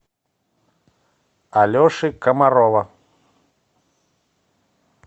алеши комарова